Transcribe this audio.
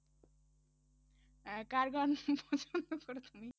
আহ কার গান করে শুনি?